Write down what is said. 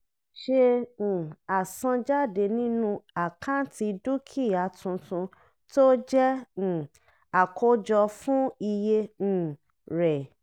ṣe um àsanjáde nínú àkáǹtì dúkìá tuntun tó jẹ́ um àkójọ fún iye um rẹ̀.